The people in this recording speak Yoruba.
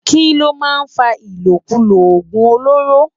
Kiló má n fá ilókúló ogún ólóró?